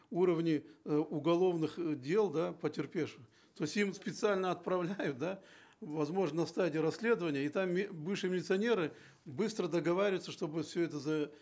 уровни э уголовных э дел да потерпевших то есть им специально отправляют да возможно на стадии расследования и там бывшие милиционеры быстро договариваются чтобы все это за